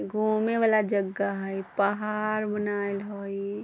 घूमे वला जगह हई पहाड़ बनाल हई।